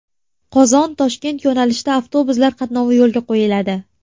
Qozon Toshkent yo‘nalishida avtobuslar qatnovi yo‘lga qo‘yiladi.